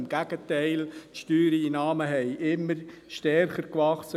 Im Gegenteil, die Steuereinnahmen sind immer stärker gewachsen.